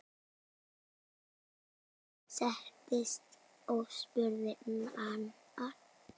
Jón settist og spurði nánar.